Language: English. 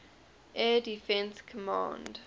air defense command